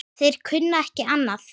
Þeir kunni ekki annað.